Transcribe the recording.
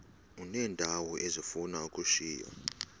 uneendawo ezifuna ukushiywa